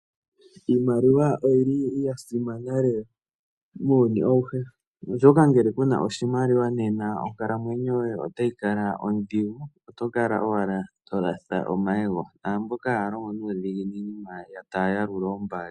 Iimaliwa oyili yasimana lela muuyuni awuhe ohsoka ngele kuna oshimaliwa nena onkalamwenyo yoye otayi kala odhigu, oto kala owala holatha omayego naamboka hayalongo nuudhiginini manga taya yalula oombali.